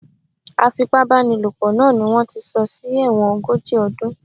Afipábánilòpọ̀ naa ni wón ti sọ sí ẹ̀wọ̀n ogójì ọdún.